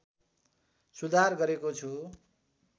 सुधार गरेको छु